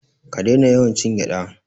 Ka daina yawan cin gyada.